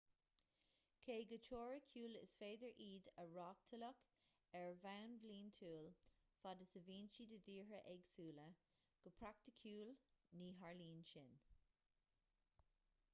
cé go teoiriciúil is féidir iad a reáchtáladh ar bhonn bliantúil fad is a bhíonn siad i dtíortha éagsúla go praiticiúil ní tharlaíonn sin